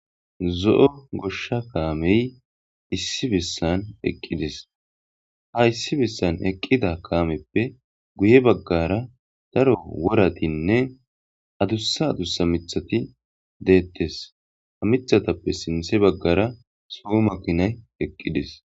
zo7o goshsha kaamey issi bessan eqqidis ha issi bessan eqqida kaameppe guye baggara daro woratinne adussa adussa mithati deettes ha mithatappe sinthe baggara so makinay eqqidis